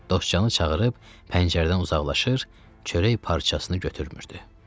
Dostcanı çağırıb pəncərədən uzaqlaşır, çörək parçasını götürmürdü.